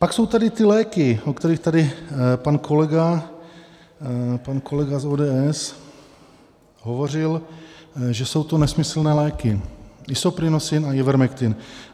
Pak jsou tady ty léky, o kterých tady pan kolega z ODS hovořil, že jsou to nesmyslné léky, Isoprinosine a Ivermectin.